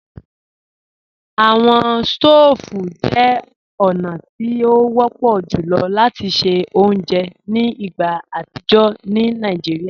Awọn stòóvù jẹ ọ̀na ti o wọ̀pọ̀ jùlọ̀ lati ṣẹ ọ̀unjẹ́ ni igbá atijọ ni Naijíríà.